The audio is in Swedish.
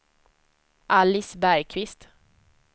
Alice Bergqvist